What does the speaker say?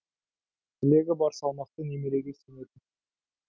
тілегі бар салмақты немереге сенетін